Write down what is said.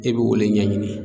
E b'o le ɲɛɲini.